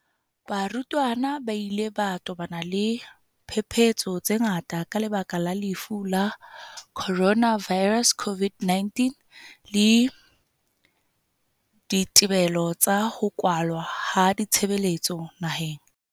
Barutwana ba ile ba tobana le diphephetso tse ngata ka lebaka la Lefu la Coronavi rus, COVID-19, le dithibelo tsa ho kwalwa ha ditshebeletso naheng.